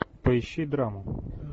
поищи драму